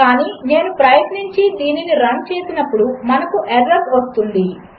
కానినేనుప్రయత్నించిదీనినిరన్చేసినప్పుడు మనకుఎర్రర్వస్తుంది